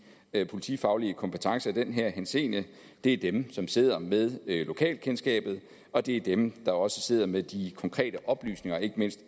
politifaglige kompetencer i den henseende det er dem som sidder med lokalkendskabet og det er dem der også sidder med de konkrete oplysninger ikke mindst